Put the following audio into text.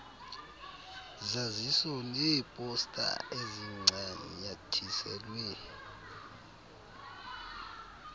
zaziso neeposta ezincanyathiselwe